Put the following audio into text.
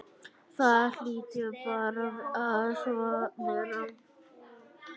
Það hlýtur bara að vera.